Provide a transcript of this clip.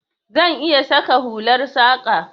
Zan iya saka hular saƙa.